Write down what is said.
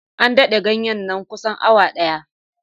An dafa ganyen na kusan awa ɗaya.